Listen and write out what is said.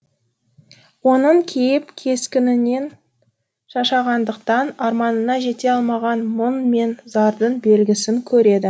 оның кейіп кескінінен шаршағандықтан арманына жете алмаған мұң мен зардың белгісін көреді